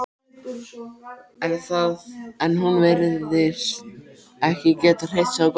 En hún virtist ekki geta hreyft sig á gólfinu.